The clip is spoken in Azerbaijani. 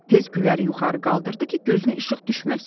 Tez Güləri yuxarı qaldırdı ki, gözünə işıq düşməsin.